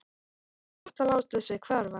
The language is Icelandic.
Það var gott að láta sig hverfa.